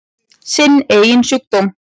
Sinn eigin sjúkdóm.